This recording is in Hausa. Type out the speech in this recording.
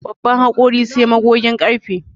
Babban hakori sai magogin ƙarfe